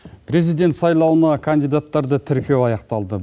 президент сайлауына кандидаттарды тіркеу аяқталды